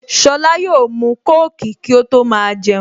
Sola yóò mu kóòkì kí ó tó máa jẹun